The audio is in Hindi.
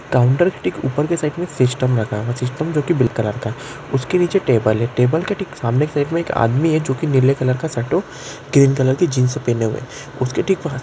काउंटर टिक ऊपर के साइड मे सिस्टम रखा है सिस्टम जो कि बिल उसके नीचे टेबल है टेबल के ठीक सामने एक आदमी है जो की नीले कलर शर्ट और ग्रीन कलर के जीन्स पहने हुए हैं। उसके ठीक --